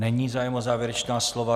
Není zájem o závěrečná slova.